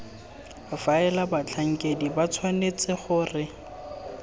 faela batlhankedi ba tshwanetse gore